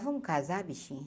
Vamos casar, bichinha?